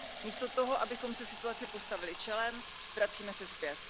Místo toho, abychom se situaci postavili čelem, vracíme se zpět.